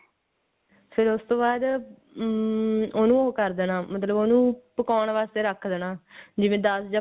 ਫਿਰ ਉਸ ਤੋਂ ਬਾਅਦ ਅਮ ਉਹਨੂੰ ਕਰ ਦੇਣਾ ਮਤਲਬ ਓਹਨੂੰ ਪਕਾਉਣ ਵਾਸਤੇ ਰੱਖ ਦੇਣਾ ਜਿਵੇਂ ਦੱਸ ਜਾ